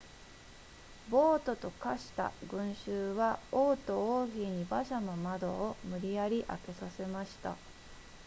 暴徒と化した群衆は王と王妃に馬車の窓を無理やり開けさせました